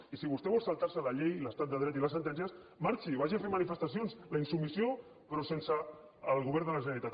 i si vostè vol saltar se la llei l’estat de dret i les sentències marxi vagi a fer manifestacions la insubmissió però sense el govern de la generalitat